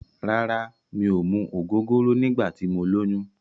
Rárá, mi ò mu ògógóró nígbà tí mo lóyún.